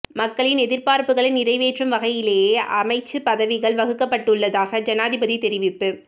மக்களின் எதிர்பார்ப்புக்களை நிறைவேற்றும் வகையிலேயே அமைச்சு பதவிகள் வகுக்கப்பட்டுள்ளதாக ஜனாதிபதி தெரிவிப்பு